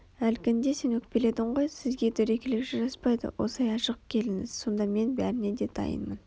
Әлгінде сен өкпеледің ғой сізге дөрекілік жараспайды осылай ашық келіңіз сонда мен бәріне де дайынмын